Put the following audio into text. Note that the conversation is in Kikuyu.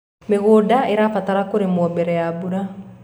mĩgũnda irabatara kũrimwo mbere ya mbura